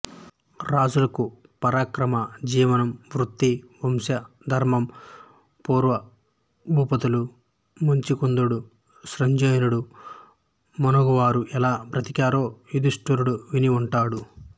రాజులకు పరాక్రమ జీవనం వృత్తి వంశధర్మం పూర్వభూపతుల ముచికుందుడు సృంజయుడు మున్నగువారు ఎలా బ్రతికారో యుదిష్టరుడు విని ఉంటాడు